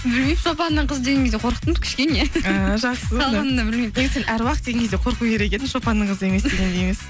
білмеймін шопанның қызы деген кезде қорықтым кішкене а жақсы қалғанында білмеймін негізі сен әруақ деген кезде қорқу керек едің шопанның қызы дегенде емес